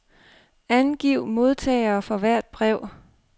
Angiv modtagere for hvert brev.